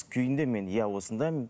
күйінде мен иә осындаймын